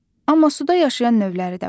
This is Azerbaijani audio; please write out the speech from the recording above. Amma suda yaşayan növləri də var.